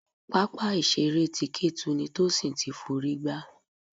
Pápá ìṣeré ti Ketu ni Tosin ti f'orí gbá.